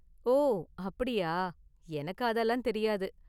ஓ, அப்படியா! எனக்கு அதெல்லாம் தெரியாது.